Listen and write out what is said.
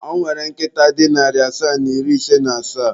Ọ nwere nkịta dị narị asaa na iri ise na asaa.